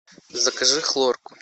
закажи хлорку